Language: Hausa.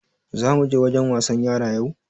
Za muje wajen wasan yara yau?